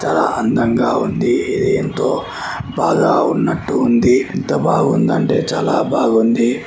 ఎంత అందంగా ఉంది ఇది ఎంతో బాగా ఉన్నట్టు ఉంది ఎంత బాగుందంటే చాలా బాగుంది.